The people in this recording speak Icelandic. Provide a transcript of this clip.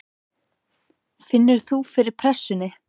Finnur þú fyrir pressunni?